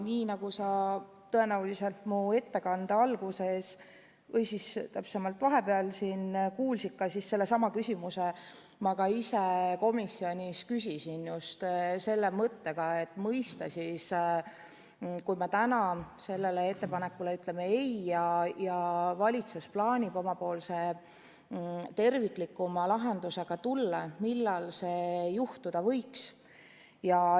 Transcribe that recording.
Nii nagu sa tõenäoliselt mu ettekande alguses või õigemini vahepeal siin kuulsid, siis sellesama küsimuse ma ka ise komisjonis küsisin, ja just sooviga mõista, et kui me täna sellele ettepanekule ütleme "ei" ja valitsus plaanib omapoolse terviklikuma lahendusega tulla, siis millal see juhtuda võiks.